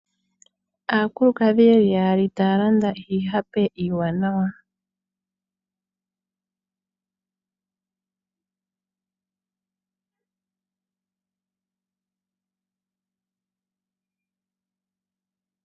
Aakulukadhi yeli yaali taya landa iihape iiwanawa.